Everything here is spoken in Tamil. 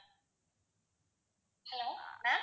hello ma'am